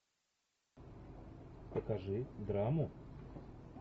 покажи драму